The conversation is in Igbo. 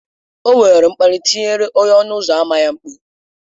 O were mkparị tiere onye ọnụ ụzọ ámá ya mkpu